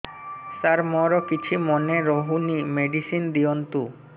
ସାର ମୋର କିଛି ମନେ ରହୁନି ମେଡିସିନ ଦିଅନ୍ତୁ